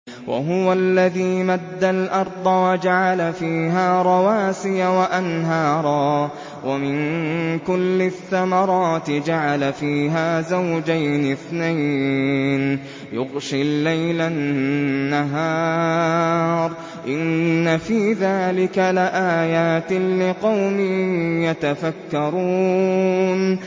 وَهُوَ الَّذِي مَدَّ الْأَرْضَ وَجَعَلَ فِيهَا رَوَاسِيَ وَأَنْهَارًا ۖ وَمِن كُلِّ الثَّمَرَاتِ جَعَلَ فِيهَا زَوْجَيْنِ اثْنَيْنِ ۖ يُغْشِي اللَّيْلَ النَّهَارَ ۚ إِنَّ فِي ذَٰلِكَ لَآيَاتٍ لِّقَوْمٍ يَتَفَكَّرُونَ